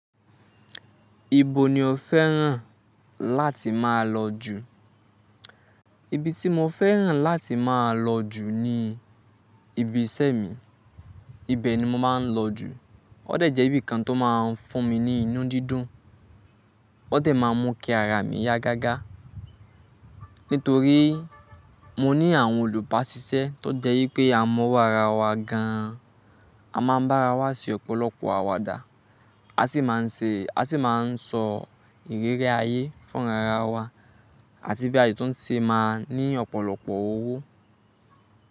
Ibo ni o fẹ́ràn láti máa lọ jù? Ibi tí mo fẹ́ràn láti máa lọ jù ni ibi iṣẹ́ mi. Ibẹ̀ ni mo máa ń lọ jù. Ó dẹ̀ jẹ́ ibi kan tó máa ń fún mi ní inú dídùn. Ó dẹ̀ máa ń mú kí ara mi yá gágá. Nítorí mo ní àwọn olùbaṣiṣẹ́ tó jẹ́ wípé a mọwọ́ ara wa gan an. A máa ń bá ara wa ṣe ọ̀pọ̀lọpọ̀ àwàdà. A sì máa ń ṣe, a sì máa ń sọ ìrírí ayé fún ara wa àti bí àyè tó ṣe máa ní ọ̀pọ̀lọpọ̀ owó.